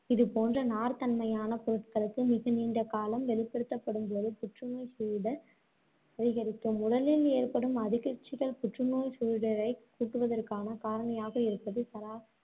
இதுபோன்ற நார்த் தன்மையான பொருட்களுக்கு மிக நீண்ட காலம் வெளிப்படுத்தப்படும்போது புற்றுநோய் சூழிடர் அதிகரிக்கும் உடலில் ஏற்படும் அதிகர்ச்சிகள் புற்றுநோய் சூழிடரைக் கூட்டுவதற்கான காரணியாக இருப்பது சரா~